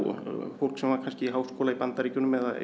fólk sem var kannski í háskóla í Bandaríkjunum eða